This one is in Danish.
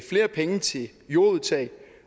flere penge til jordudtag